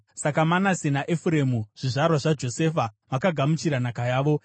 Saka Manase naEfuremu zvizvarwa zvaJosefa, vakagamuchira nhaka yavo.